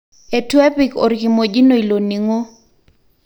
Etu epik orkimojino ilo ningo.